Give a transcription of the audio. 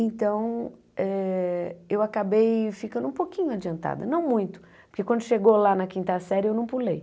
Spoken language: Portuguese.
Então, eh eu acabei ficando um pouquinho adiantada, não muito, porque quando chegou lá na quinta série eu não pulei.